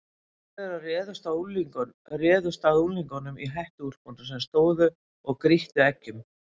Fjórir þeirra réðust að unglingunum í hettuúlpunum sem stóðu og grýttu eggjum.